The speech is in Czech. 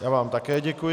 Já vám také děkuji.